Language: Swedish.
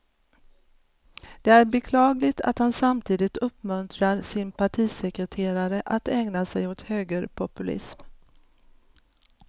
Det är beklagligt att han samtidigt uppmuntrar sin partisekreterare att ägna sig åt högerpopulism.